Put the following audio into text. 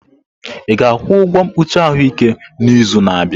Ị ga-akwụ ụgwọ mkpuchi ahụike n'izu na-abịa?